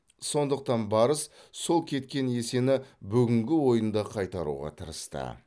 сондықтан барыс сол кеткен есені бүгінгі ойында қайтаруға тырысты